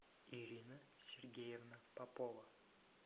ирина сергеевна попова